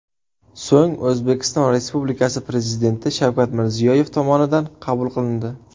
So‘ng O‘zbekiston Respublikasi Prezidenti Shavkat Mirziyoyev tomonidan qabul qilindi .